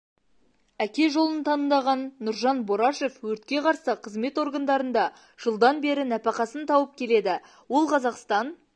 әке жолын таңдаған нұржан борашев өртке қарсы қызмет органдарында жылдан бері нәпақасын тауып келеді ол қазақстан